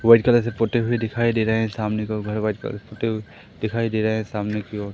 white colour से पोते हुए दिखाई दे रहे हैं सामने दो घर व्हाईट कलर पोते हुई दिखाई दे रहा है सामने की ओर --